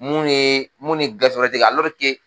Munnu yee mun ni gafe were tɛ kɛ,